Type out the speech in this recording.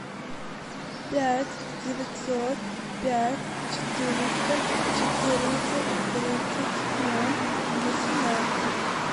пять девятьсот пять четыреста четырнадцать тридцать ноль восемнадцать